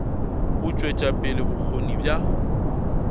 go tšwetša pele bokgoni bja